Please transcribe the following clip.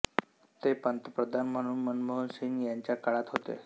ते पंतप्रधान म्हणून मनमोहन सिंग यांच्या काळात होते